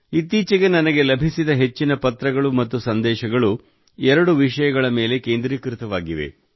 ಇತ್ತೀಚೆಗೆ ನನಗೆ ಲಭಿಸಿದ ಹೆಚ್ಚಿನ ಪತ್ರಗಳು ಮತ್ತು ಸಂದೇಶಗಳು ಎರಡು ವಿಷಯಗಳ ಮೇಲೆ ಕೇಂದ್ರೀಕೃತವಾಗಿವೆ